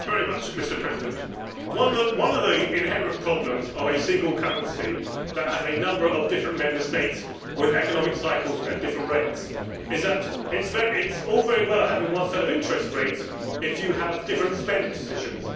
Mr President, one of the inherent problems of a single currency which has a number of different Member States, with economic cycles at different rates, is that it is pointless having one set of interest rates if you have different spending decisions.